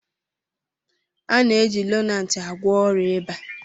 A na-eji Lonart agwọ ọrịa ịba